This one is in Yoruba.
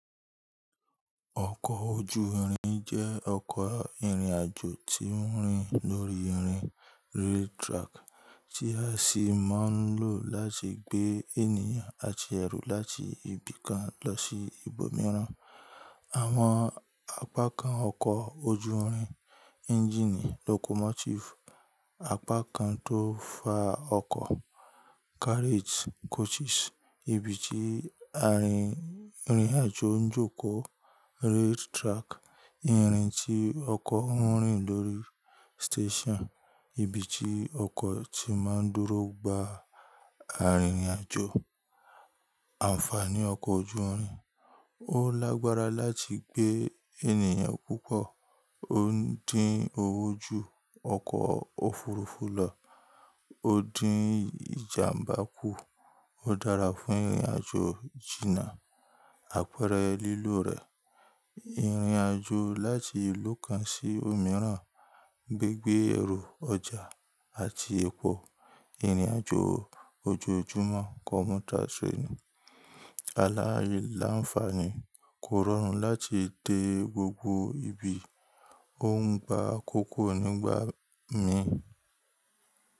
Ọkọ̀ ojú irin jẹ́ ọkọ̀ ìrìn àjò tí ń rìn lórí irin rail track tí a sì máa ń lò láti gbé ènìyàn àti ẹrù láti ibi kan lọ sí ibòmíràn. Àwọn apákan ọkọ̀ ojú irin; ẹ́ńjìnì locomotive, apá kan tó fa ọkọ̀ carriage/coaches, ibi tí arin ìrìn àjò ń jókòó rail track, irin tí ọkọ̀ ń rìn lórí, station, ibi tí ọkọ̀ tí máa ń dúró gba arìnrìn àjò. Ànfàní ọkọ̀ ojú irin. Ó lágbára láti gbé ènìyàn púpọ̀. Ó ń dín owó ju ọkọ̀ òfurufú lọ. Ó dín ìjàmbá kù. Ó dára fún ìrìn àjò jìnnà. Àpẹẹrẹ lílò rẹ̀ ìrìn àjò láti ìlú kan sí òmíràn, gbigbe ẹrú, ọjà àti ẹpo, ìrìn àjò ojoojúmọ́ commuter train. Alailanfààní, kò rọrùn láti dé gbogbo ibi, ó ń gba akókó nígbà míì.